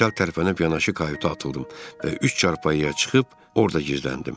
Mən çat tərəfə yanaşı kayuta atıldım və üç çarpayıya çıxıb orda gizləndim.